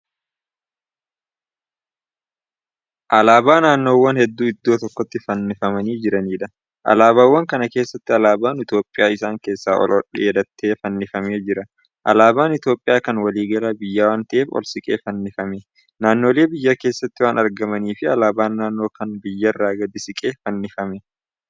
Alaabaa naannowwan hedduu iddoo tokkotti fannifamanii jiraniidha alaabaawwan kana keessa alaabaan itoophiyaa isaan keessaa oldheetatee fannifamee Jira. alaabaan itoophiyaa Kan waliigala biyyaa waan ta'eef ol siiqqee fannifamee. naannoleen biyya keessatti waan argamaniifi alaabaan naannoo Kan biyyaarra gadi siqee fannifamee.